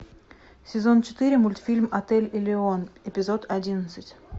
сезон четыре мультфильм отель элеон эпизод одиннадцать